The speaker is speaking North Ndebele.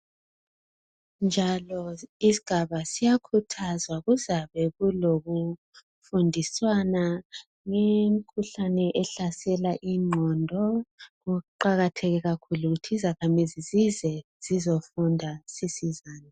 Njalo isigaba siyakhuthazwa kuzabe kulo kufundiswana ngemikhuhlane ehlasela ingqondo okuqakathe kakhulu yikuthi izakhamizi zize zizofunda sisizane.